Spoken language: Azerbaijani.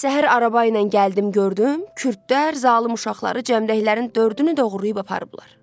Səhər araba ilə gəldim gördüm, kürdlər, zalım uşaqları cəmdəklərin dördünü doğrayıb aparıblar.